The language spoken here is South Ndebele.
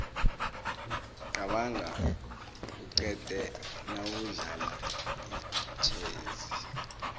qabanga uqede nawudlala itjhezi